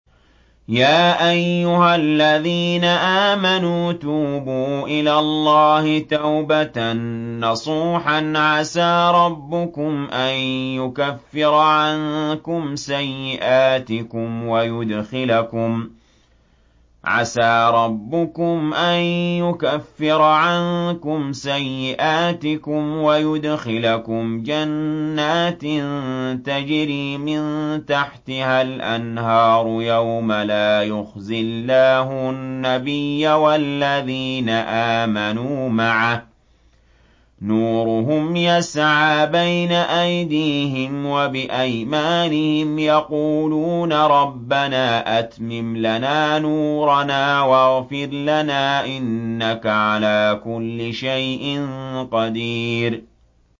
يَا أَيُّهَا الَّذِينَ آمَنُوا تُوبُوا إِلَى اللَّهِ تَوْبَةً نَّصُوحًا عَسَىٰ رَبُّكُمْ أَن يُكَفِّرَ عَنكُمْ سَيِّئَاتِكُمْ وَيُدْخِلَكُمْ جَنَّاتٍ تَجْرِي مِن تَحْتِهَا الْأَنْهَارُ يَوْمَ لَا يُخْزِي اللَّهُ النَّبِيَّ وَالَّذِينَ آمَنُوا مَعَهُ ۖ نُورُهُمْ يَسْعَىٰ بَيْنَ أَيْدِيهِمْ وَبِأَيْمَانِهِمْ يَقُولُونَ رَبَّنَا أَتْمِمْ لَنَا نُورَنَا وَاغْفِرْ لَنَا ۖ إِنَّكَ عَلَىٰ كُلِّ شَيْءٍ قَدِيرٌ